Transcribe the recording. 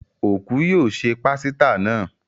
Òkú yóò se pásítà náà.